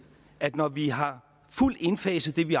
at når vi har fuldt indfaset det vi